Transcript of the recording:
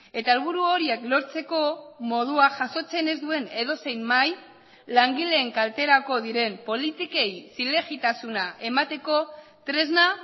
eta helburu horiek lortzeko modua jasotzen ez duen edozein mahai langileen kalterako diren politikei zilegitasuna emateko tresna